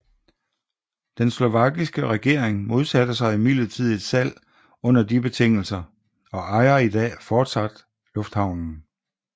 Den slovakiske regering modsatte sig imidlertid et salg under de betingelser og ejer i dag fortsat lufthavnen